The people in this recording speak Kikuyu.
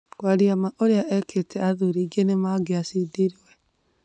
"Kwaria ma urĩa ekĩte athuri aĩngĩ nĩmangĩcindirwe.